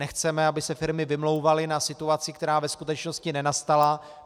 Nechceme, aby se firmy vymlouvaly na situaci, která ve skutečnosti nenastala.